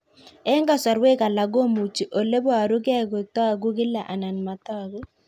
Eng' kasarwek alak komuchi ole parukei kotag'u kila anan matag'u